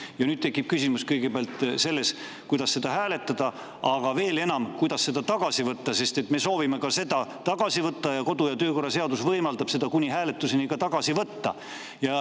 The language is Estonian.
Ja nüüd tekib kõigepealt küsimus, kuidas seda hääletada, aga veel enam, kuidas seda tagasi võtta, sest me soovime seda tagasi võtta ning kodu‑ ja töökorra seadus võimaldab seda kuni hääletuseni tagasi võtta.